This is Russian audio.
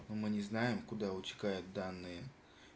мы не знаем куда утекают данные